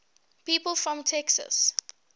people from texas